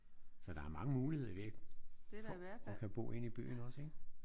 Så der er mange muligheder i det for at kan bo inde i byen også ik?